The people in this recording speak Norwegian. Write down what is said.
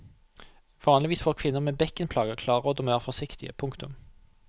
Vanligvis får kvinner med bekkenplager klare råd om å være forsiktige. punktum